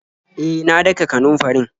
E, na daka kanunfarin.